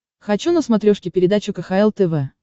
хочу на смотрешке передачу кхл тв